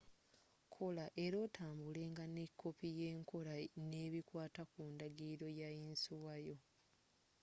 kola era otambulenga ne koppi yenkola nebikwata ku ndagiliro ya yinsuwa yo